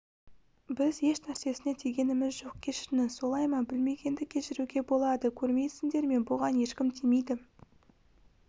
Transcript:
біз еш нәрсесіне тигеніміз жоқ кешіріңіз солай ма білмегенді кешіруге болады көрмейсіндер ме бұған ешкім тимейді